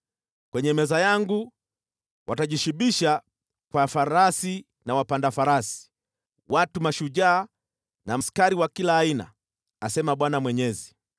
Kwenye meza yangu watajishibisha kwa farasi na wapanda farasi, watu mashujaa na askari wa kila aina,’ asema Bwana Mwenyezi.